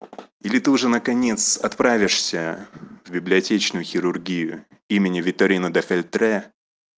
или ты уже наконец отправишься в библиотечную хирургию имени витторино да фельтре